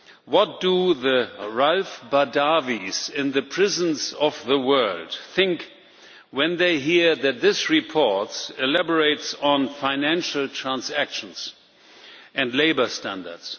What do the Raif Badawis in the prisons of the world think when they hear that this report elaborates on financial transactions and labour standards?